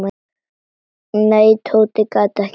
Nei, Tóti gat ekki beðið.